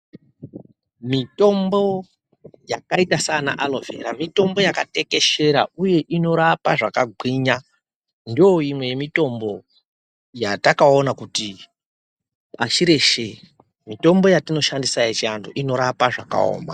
Mitombo yakaita saana alovhera mitombo yakatekeshera uye inorapa zvakagwinya ndoimwe yemitombo yatakaona kuti pashi reshe mitombo yatinoshandisa yechiantu inorapa zvakaoma.